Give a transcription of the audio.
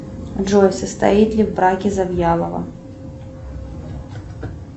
джой состоит ли в браке завьялова